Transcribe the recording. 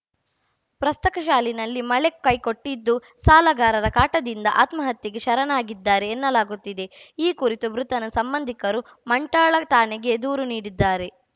ಪ್ರಸಕ್ತ ಸಾಲಿನಲ್ಲಿ ಮಳೆ ಕೈಕೊಟ್ಟಿದ್ದು ಸಾಲಗಾರರ ಕಾಟದಿಂದ ಆತ್ಮಹತ್ಯೆಗೆ ಶರಣಾಗಿದ್ದಾರೆ ಎನ್ನಲಾಗುತ್ತಿದೆ ಈ ಕುರಿತು ಮೃತನ ಸಂಬಂಧಿಕರು ಮಂಠಾಳ ಠಾಣೆಗೆ ದೂರು ನೀಡಿದ್ದಾರೆ